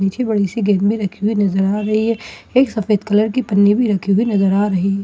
पीछे बड़ी सी गेंद भी रखी हुई नजर आ रही है एक सफेद कलर की पन्नी भी रखी हुई नजर आ रही है।